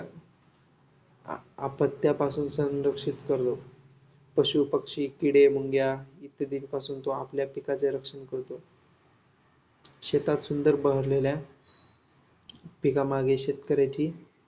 आपत्त्यांपासून संरक्षित करतो. पशू, पक्षी, किडे, मुंग्या इत्यादींपासून तो आपल्या पिकाचे रक्षण करतो. शेतात सुंदर बहरलेल्या पिकांमागे शेतकऱ्याची